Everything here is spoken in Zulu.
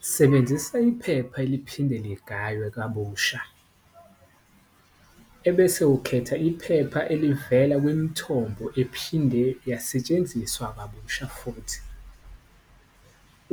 Sebenzisa iphepha eliphinde ligaywe kabusha ebese ukhetha iphepha elivela kwimthombo ephinde yasetshenziswa kabusha futhi,